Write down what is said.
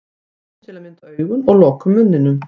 Við opnum til að mynda augun og lokum munninum.